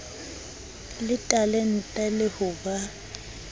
le talente le ho ba